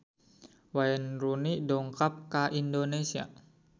Wayne Rooney dongkap ka Indonesia